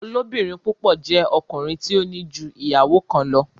Olobirin púpọ jé ọkùnrin tí o ní jú ìyàwó kán lọ.